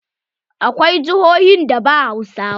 Akwai jihohin da ba Hausawa.